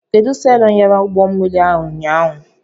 Kedụ selọ nyara ụgbọmmiri a ụnyaahụ?